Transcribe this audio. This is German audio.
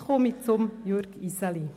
Jetzt komme ich zu Jürg Iseli.